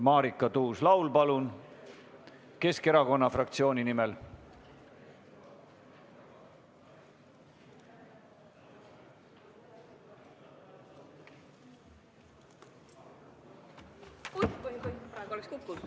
Marika Tuus-Laul Keskerakonna fraktsiooni nimel, palun!